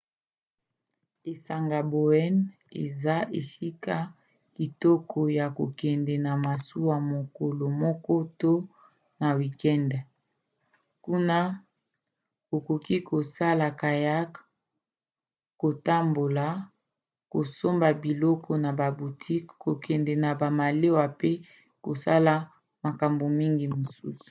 esanga bowen eza esika kitoko ya kokende na masuwa mokolo moko to na wikende; kuna okoki kosala kayak kotambola kosomba biloko na ba boutiques kokende na malewa pe kosala makambo mingi mosusu